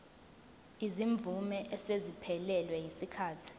izimvume eseziphelelwe yisikhathi